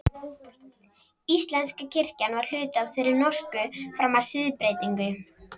Íslenska kirkjan var hluti af þeirri norsku fram að siðbreytingu.